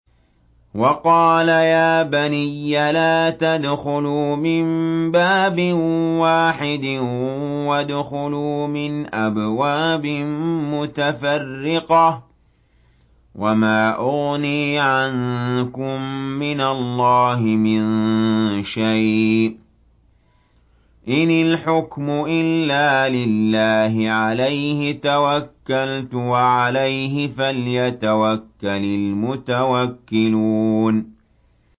وَقَالَ يَا بَنِيَّ لَا تَدْخُلُوا مِن بَابٍ وَاحِدٍ وَادْخُلُوا مِنْ أَبْوَابٍ مُّتَفَرِّقَةٍ ۖ وَمَا أُغْنِي عَنكُم مِّنَ اللَّهِ مِن شَيْءٍ ۖ إِنِ الْحُكْمُ إِلَّا لِلَّهِ ۖ عَلَيْهِ تَوَكَّلْتُ ۖ وَعَلَيْهِ فَلْيَتَوَكَّلِ الْمُتَوَكِّلُونَ